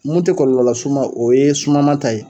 Mun te kɔlɔlɔ las'u ma o ye sumama ta ye.